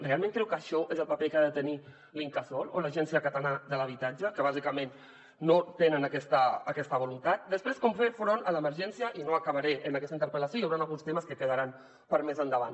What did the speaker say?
realment creu que això és el paper que ha de tenir l’incasòl o l’agència catalana de l’habitatge que bàsicament no tenen aquesta voluntat després com fer front a l’emergència i no acabaré en aquesta interpel·lació hi hauran alguns temes que quedaran per a més endavant